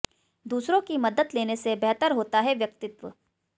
दूसरों की मदद लेने से बेहतर होता है व्यक्तित्व